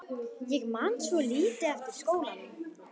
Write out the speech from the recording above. Ég man svo lítið eftir skólanum.